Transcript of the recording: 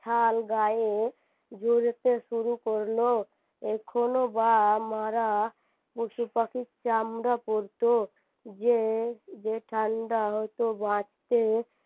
শাল গায়ে জোড়াতে শুরু করল এখনও বা মারা পশুপাখির চামড়া পড়ত যে যে ঠান্ডা হতে বাচতে